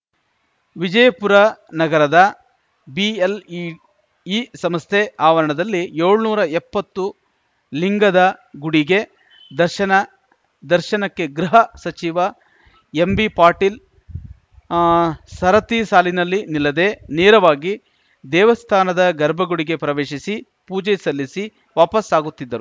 ವಿಜಯಪುರ ನಗರದ ಬಿಎಲ್‌ಇಇ ಸಂಸ್ಥೆ ಆವರಣದಲ್ಲಿ ಏಳ್ನೂರಾ ಎಪ್ಪತ್ತು ಲಿಂಗದ ಗುಡಿಗೆ ದರ್ಶನ ದರ್ಶನಕ್ಕೆ ಗೃಹ ಸಚಿವ ಎಂಬಿಪಾಟೀಲ್‌ ಸರತಿ ಸಾಲಿನಲ್ಲಿ ನಿಲ್ಲದೇ ನೇರವಾಗಿ ದೇವಸ್ಥಾನದ ಗರ್ಭಗುಡಿಗೆ ಪ್ರವೇಶಿಸಿ ಪೂಜೆ ಸಲ್ಲಿಸಿ ವಾಪಸಾಗುತ್ತಿದ್ದರು